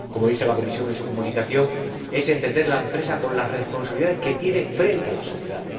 Como dice la Comisión en su Comunicación, es entender la empresa con las responsabilidades que tiene frente a la sociedad.